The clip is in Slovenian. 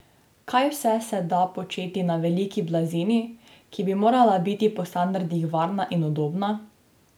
Kaj vse se da početi na veliki blazini, ki bi morala biti po standardih varna in udobna?